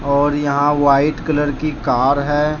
और यहां white colour की कार है।